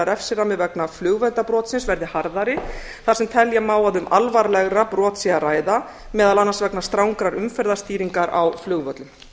refsirammi vegna flugverndarbrotsins verði harðari þar sem telja má að um alvarlegra brot sé að ræða meðal annars vegna strangrar umferðarstýringar á flugvöllum